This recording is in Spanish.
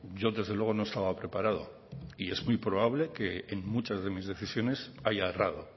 yo desde luego no estaba preparado y es muy probable que en muchas de mis decisiones haya errado